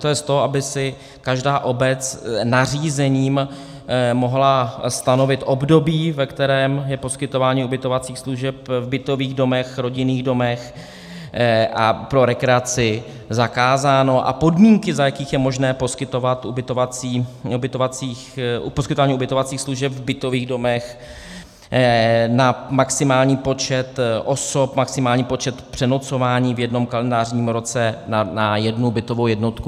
To je z toho, aby si každá obec nařízením mohla stanovit období, ve kterém je poskytování ubytovacích služeb v bytových domech, rodinných domech a pro rekreaci zakázáno, a podmínky, za jakých je možné poskytování ubytovacích služeb v bytových domech na maximální počet osob, maximální počet přenocování v jednom kalendářním roce na jednu bytovou jednotku.